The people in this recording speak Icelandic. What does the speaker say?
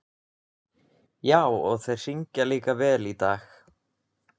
Já, og þeir syngja líka vel í dag.